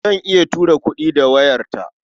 Zan iya tura kuɗi da wayarta.